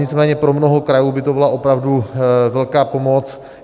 Nicméně pro mnoho krajů by to byla opravdu velká pomoc.